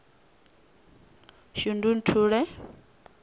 shundunthule